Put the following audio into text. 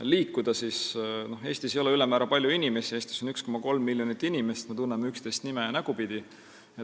liikuda, siis tuleb öelda, et Eestis ei ole ülemäära palju inimesi, Eestis on 1,3 miljonit inimest, me tunneme üksteist nime- ja nägupidi.